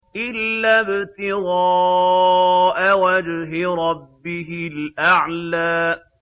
إِلَّا ابْتِغَاءَ وَجْهِ رَبِّهِ الْأَعْلَىٰ